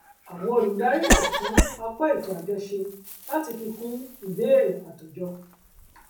àwọn olùdarí lè tún apá ètò àjọ ṣe láti fi kún ìbéèrè àtòjọ